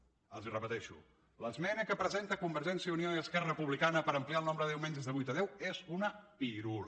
els ho repeteixo l’esmena que presenten convergència i unió i esquerra republicana per ampliar el nombre de diumenges de vuit a deu és una pirula